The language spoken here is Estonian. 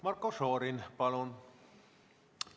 Marko Šorin, palun!